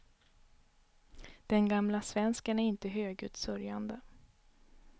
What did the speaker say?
Den gamla svensken är inte högljutt sörjande.